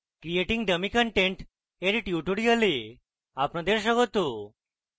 creating dummy content এর tutorial আপনাদের স্বাগত